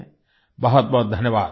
बहुत बहुत धन्यवाद